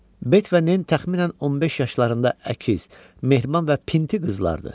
Bet və Nen təxminən 15 yaşlarında əkiz, mehriban və pinti qızlardır.